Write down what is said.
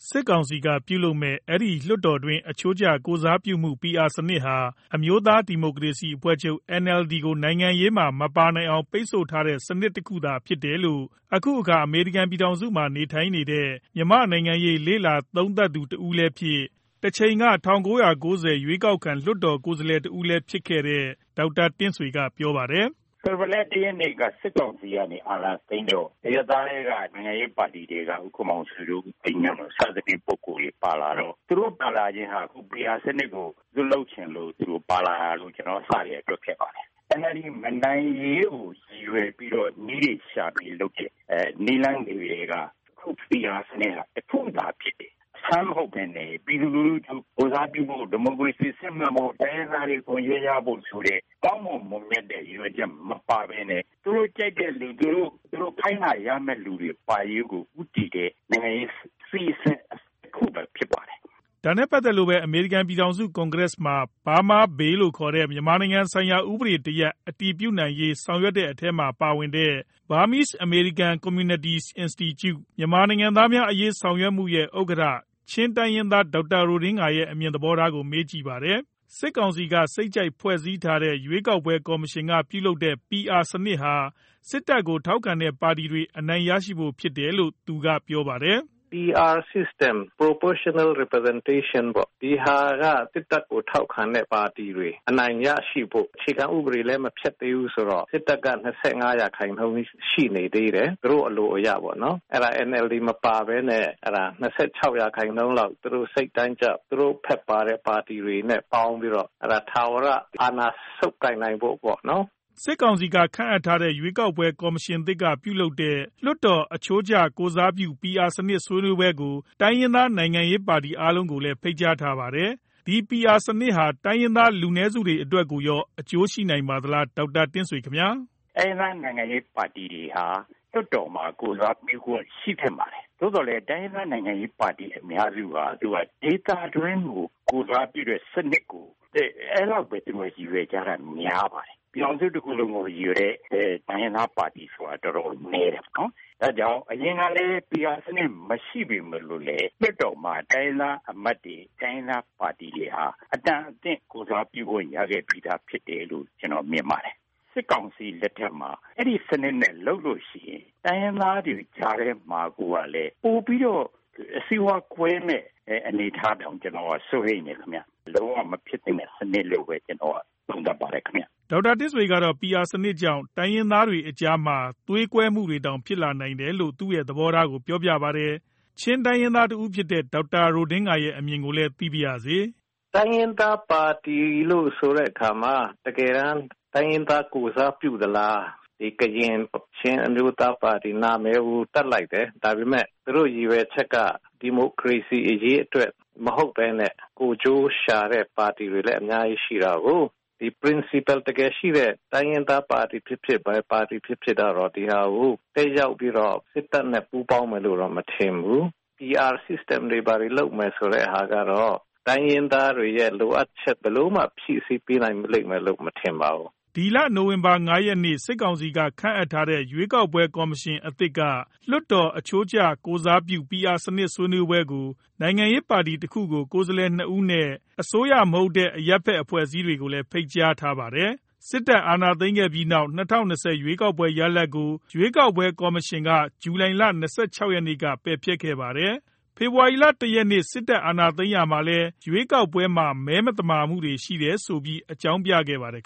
စစ်ကောင်စီက ပြုလုပ်မဲ့ အဲဒီ လွှတ်တော်တွင်း အချိုးကျ ကိုယ်စားပြုမှု PR စနစ်ဟာ အမျိုးသားဒီမိုကရေစီအဖွဲ့ချုပ် NLD ကို နိုင်ငံရေးမှာ မပါနိုင်အောင် ပိတ်ဆို့ထားတဲ့စနစ်တခုသာဖြစ်တယ်လို့ အခုအခါ အမေရိကန်ပြည်ထောင်စုမှာနေထိုင်နေတဲ့ မြန်မာနိုင်ငံရေးလေ့လာသုံးသူတဦးလည်းဖြစ်၊ တချိန်က ၁၉ ၉ ဝ ရွေးကောက်ခံ လွှတ်တော်ကိုယ်စားလှယ်တဦးလည်းဖြစ်ခဲ့တဲ့ ဒေါက်တာ တင့်ဆွေ က ပြောပါတယ်။ " ဖေဖော်ဝါရီလ ၁ ရက်နေ့ စစ်ကောင်စီက အာဏာသိမ်းတော့ အရပ်သားထဲက နိုင်ငံရေးပါတီတွေက ဦးခင်မောင်ဆွေ တို့ ဦးသိန်းညွန့် တို့ သူတို့ပါလာတော့ သူတို့ပါလာတော့ PR စနစ်ကို ဇွတ်လုပ်ချင်လို့ပါလာတာလို့ ကျနော်အစကတည်းက တွက်ခဲ့ပါတယ်။ NLD မနိုင်ရေးကို ရည်ရွယ်ပြီးလုပ်တဲ့ နည်းလမ်းတွေထဲက အခု PR စနစ်ဟာ တခုသာဖြစ်တယ်။ အဆန်းမဟုတ်ပဲနဲ့ ပြည်သူလူထုကိုယ်စားပြုမှု၊ ဒီမိုကရေစီစစ်မှန်မှု၊ တိုင်းရင်းသားတွေအခွင့်အရေးရမှုဆိုတဲ့ ကောင်းမွန်မွန်မြတ်တဲ့ ရည်ရွယ်ချက်မပါပဲနဲ့ သူတို့ခိုင်းတာရမဲ့လူပါရေးကို ဦးတည်တဲ့ အစီအစဉ်တခုသာဖြစ်ပါတယ်" ဒါနဲ့ပတ်သက်လို့ပဲ အမေရိကန် ပြည်ထောင်စု ကွန်ကရက်မှာ Burma Bill လို့ခေါ်တဲ့ မြန်မာပြည်ဆိုင်ရာ ဥပဒေတရပ် အတည်ပြုရေး ဆောင်ရွက်နေတဲ့အထဲမှာ ပါဝင်တဲ့Burmese American Communities Institute မြန်မာနိုင်ငံသားများ အရေးဆောင်ရွက်နေတဲ့အဖွဲ့ ရဲ့ ဥက္ကဌ ချင်းတိုင်းရင်းသား ဒေါက်တာ ရိုဒင်ဂါ ရဲ့ အမြင်သဘောထားကို မေးမြန်ကြည့်ပါတယ်။ စစ်ကောင်စီက စိတ်ကြိုက်ဖွဲ့စည်းထားတဲ့ ရွေးကောက်ပွဲကော်မရှင်က ပြုလုပ်တဲ့ PR စနစ်ဟာ စစ်တပ်ကို ထောက်ခံတဲ့ပါတီတွေ အနိုင်ရရှိဖို့ဖြစ်တယ်လို့ သူကပြောပါတယ်။ " PR System Proportional Representation ပေါ့ ။ ဒီဟာက စစ်တပ်ကို ထောက်ခံတဲ့ပါတီတွေ အနိုင်ရရှိဖို့ အခြေခံဥပဒေလည်းမဖျက်သိမ်းသေးဘူးဆိုတော့ စစ်တပ်က ၂၅ ရာခိုင်နှုန်းရှိနေသေးတယ်။ သူတို့အလိုအရပေါ့နော်။ အဲဒါ NLD မပါပဲနဲ့ ၂၆ ရာခိုင်နှုန်းလောက် သူတို့စိတ်တိုင်းကျ သူတို့ဖက်ပါတဲ့ပါတီတွေနဲ့ပေါင်းပြီးတော့ ထာဝရအာဏာဆုပ်ကိုင်နိုင်ဖို့ပေါ့နော် " စစ်ကောင်စီ က ခန့်အပ်ထားတဲ့ ရွေးကောက်ပွဲကော်မရှင်သစ် ကပြုလုပ်တဲ့ လွှတ်တော်အချိုးကျ ကိုယ်စားပြု PR စနစ် ဆွေးနွေးပွဲကို တိုင်းရင်းသားနိုင်ငံရေးပါတီတွေကိုလည်း ဖိတ်ကြားထားပါတယ်။ ဒီ PR စနစ်ဟာ တိုင်းရင်းသားလူနည်းစုတွေအတွက်ကိုရော အကျိုးရှိနိုင်ပါသလား ဒေါက်တာတင့်ဆွေ ခင်ဗျာ။ "တိုင်းရင်းသားနိုင်ငံရေးပါတီတွေဟာ လွှတ်တော်မှာ ကိုယ်စားပြုခွင့်ရှိသင့်ပါတယ်။ သိုသော်လည်း တိုင်းရင်းသားနိုင်ငံရေးပါတီအများစုဟာ ဒေသတွင်းကို ကိုယ်စားပြုတဲ့စနစ်ကို အဲဒီလောက်ပဲရည်ရွယ်ကြတာများပါတယ်။ ပြည်ထောင်စုတခုလုံးကို ရည်ရွယ်တဲ့ တိုင်းရင်းသားပါတီဆိုတာ တော်တော်နည်းတယ်။ ဒါ့ကြောင့် အရင်ကလည်း PR စနစ်မရှိပေမယ့်လည်း လွှတ်တော်မှာ တိုင်းရင်းသားအမတ်တွေ တိုင်းရင်းသားပါတီတွေဟာ အတန်အသင့်ကိုယ်စားပြုမှုခွင်ရခဲ့ပြီးသားဖြစ်တယ်လို့ ကျနော်မြင်ပါတယ်။ စစ်ကောင်စီလက်ထဲမှာ အဲဒီစနစ်နဲ့လုပ်လို့ရှိရင် တိုင်းရင်းသားတွေကြားထဲမှာကိုပဲ ပိုပြီးတော့ စိတ်ဝမ်းကွဲမဲ့အနေအထားကို ကျနော်ကတော့ စိုးရိမ်တယ်ခင်ဗျ။ လုံးဝမဖြစ်သင့်တဲ့ စနစ်လို့ပဲ သုံးသပ်ပါတယ်ခင်ဗျ" ဒေါက်တာတင့်ဆွေ ကတော့ PR စနစ်ကြောင့် တိုင်းရင်းသားတွေအကြားမှာတောင် စိတ်ဝမ်းကွဲမှုတွေဖြစ်လာနိုင်တယ်လို့ သူသဘောထားကို ပြောတော့ ချင်းတိုင်းရင်းသား တဦးဖြစ်တဲ့ ဒေါက်တာ ရိုဒင်ဂါ ရဲ့ အမြင်ကိုလည်း သိပါရစေ။ " တိုင်းရင်းသားပါတီလို့ဆိုတဲ့အခါမှာ တကယ်တန်း တိုင်းရင်းသားကို ကိုယ်စားပြုသလား၊ ကရင် ချင်းအမျိုးသားပါတီဆိုပြီး နာမည်တပ်လိုက်တယ်။ ဒါပေမယ့် သူတို့ရည်ရွယ်ချက်က ဒီမိုကရေစီအရေးအတွက်မဟုတ်ပဲနဲ့ ကိုယ်ကျိုးရှာတဲ့ပါတီတွေလည်း အများကြီးရှိတာကို၊ ဒီ Principle တကယ်ရှိတဲ့ တိုင်းရင်းသားပါတီ ်ဖြစ်ဖြစ် ဘယ်ပါတီဖြစ်ဖြစ် ဒီဟာကို တက်ရောက်ပြီးတော့ စစ်တပ်နဲ့ပူးပေါင်းမယ်လို့တော့ မထင်ဘူး။ PR System တွေလုပ်မယ်ဆိုတဲ့ဟာကတော့ တိုင်းရင်းသားတွေရဲ့လိုအပ်ချက် ဘယ်လိုမှဖြည့်ဆည်းပေးနိုင်လိမ့်မယ်လို့မထင်ပါဘူး" ဒီလ နိုဝင်ဘာ ၅ရက်နေ့ စစ်ကောင်စီက ခန့်အပ်ထားတဲ့ ရွေးကောက်ပွဲကော်မရှင်အသစ်က လွတ်တော်အချိုးကျ ကိုယ်စားပြုPR စနစ်နဲ့ ဆွေးနွေးပွဲကို နိုင်ငံရေးပါတီတခုကို ကိုယ်စားလှယ် ၂ဦး နဲ့ အစိုးရမဟုတ်တဲ့ အရပ်ဖက်အဖွဲ့အစည်းတွေကို ဖိတ်ကြားထားပါတယ်။စစ်တပ်အာဏာသိမ်းခဲ့ပြီးနောက် ၂၀၂၀ ရွေးကောက်ပွဲရလဒ်ကို ရွေးကောက်ပွဲ ကော်မရှင်က ဇူလိုင်လ ၂၆ ရက်နေ့က ပယ်ဖျက်ခဲ့ပါတယ်။ ဖေဖော်ဝါရီလ ၁ရက်နေ့ စစ်တပ်က အာဏာသိမ်းရာမှာလည်း ရွေးကောက်ပွဲမဲမသမာမှုတွေရှိတယ်လို့ အကြောင်းပြပါတယ်